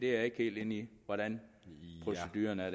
jeg er ikke helt inde i hvordan proceduren er